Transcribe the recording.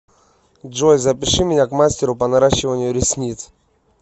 джой запиши меня к мастеру по наращиванию ресниц